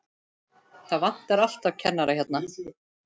Það vantar alltaf kennara hérna.